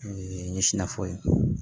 O ye n ɲɛ sina fɔ